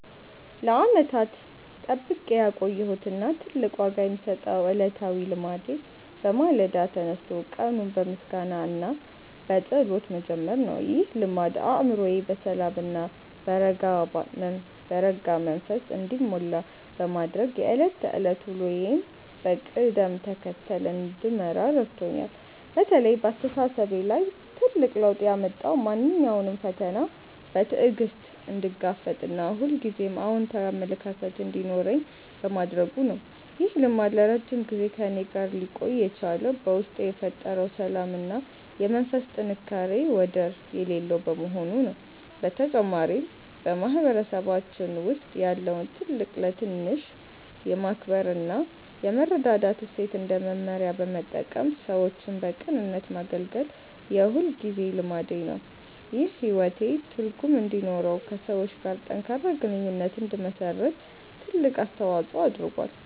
ለዓመታት ጠብቄ ያቆየሁት እና ትልቅ ዋጋ የምሰጠው ዕለታዊ ልማዴ በማለዳ ተነስቶ ቀኑን በምስጋና እና በጸሎት መጀመር ነው። ይህ ልማድ አእምሮዬ በሰላም እና በረጋ መንፈስ እንዲሞላ በማድረግ የዕለት ተዕለት ውሎዬን በቅደም ተከተል እንድመራ ረድቶኛል። በተለይ በአስተሳሰቤ ላይ ትልቅ ለውጥ ያመጣው ማንኛውንም ፈተና በትዕግስት እንድጋፈጥ እና ሁልጊዜም አዎንታዊ አመለካከት እንዲኖረኝ በማድረጉ ነው። ይህ ልማድ ለረጅም ጊዜ ከእኔ ጋር ሊቆይ የቻለው በውስጤ የፈጠረው ሰላም እና የመንፈስ ጥንካሬ ወደር የሌለው በመሆኑ ነው። በተጨማሪም፣ በማህበረሰባችን ውስጥ ያለውን ትልቅ ለትንሽ የማክበር እና የመረዳዳት እሴት እንደ መመሪያ በመጠቀም ሰዎችን በቅንነት ማገልገል የሁልጊዜ ልማዴ ነው። ይህም ሕይወቴ ትርጉም እንዲኖረውና ከሰዎች ጋር ጠንካራ ግንኙነት እንድመሰርት ትልቅ አስተዋጽኦ አድርጓል።